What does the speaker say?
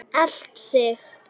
Elt þig?